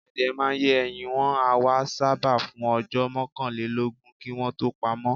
Àdìẹ́ màá n yè ẹ̀yìn, wọn àwà ṣábà fún ọjọ́ mọ̀kànlẹ̀lọ́gún kí wọn tó pàmọ̀.